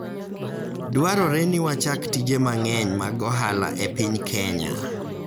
Dwarore ni wachak tije mang'eny mag ohala e piny Kenya.